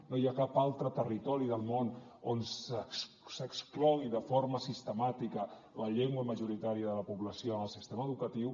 no hi ha cap altre territori del món on s’exclogui de forma sistemàtica la llengua majoritària de la població en el sistema educatiu